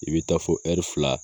I bɛ taa fɔ fila.